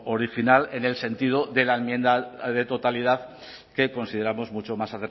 original en el sentido de la enmienda de totalidad que consideramos mucho más